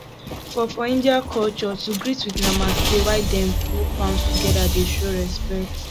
for for india culture to greet with namaste while dem put palms together dey show respect